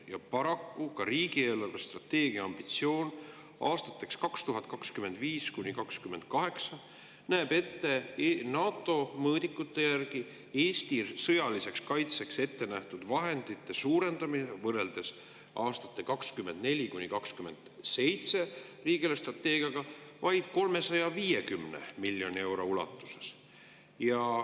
Paraku riigi eelarvestrateegia ambitsioon aastateks 2025–2028 NATO mõõdikute järgi Eesti sõjaliseks kaitseks ettenähtud vahendite suurendamise võrreldes aastate 2024–2027 riigi eelarvestrateegiaga vaid 350 miljoni euro ulatuses.